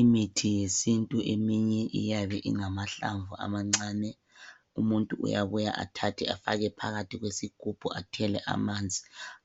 Imithi yesintu eminye iyabe ingamahlamvu amancane. Umuntu uyabuya athathe afake phakathi kwesigubhu athele amanzi .